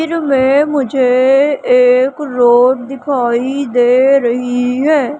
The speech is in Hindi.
चित्र मे मुझे एक रोड दिखाई दे रही है।